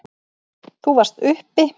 Þú varst uppi.